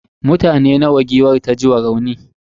mutane nawa giwar ta ji ma rauni?